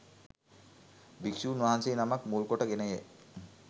භික්‍ෂූන් වහන්සේ නමක් මුල්කොට ගෙනය.